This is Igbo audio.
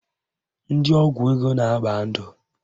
Ndị ọgwụ ego na-agba ndụ